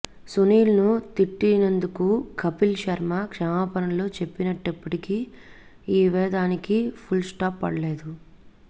సునీల్ ను తిట్టినందుకు కపిల్ శర్మ క్షమాపణలు చెప్పినప్పటికీ ఈ వివాదానికి ఫుల్ స్టాప్ పడలేదు